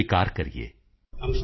sound bite of Shri Atal ਜੀ